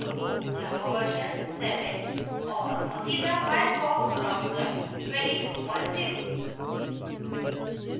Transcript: java version 7 और mozilla firefox browser 220